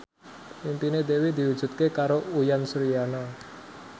impine Dewi diwujudke karo Uyan Suryana